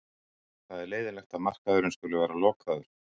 Það er leiðinlegt að markaðurinn skuli vera lokaður.